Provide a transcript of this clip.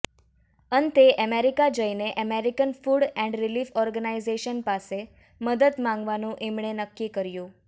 અંતે અમેરિકા જઇને American food and relief organisation પાસે મદદ માગવાનુ એમણે નક્કી કર્યુ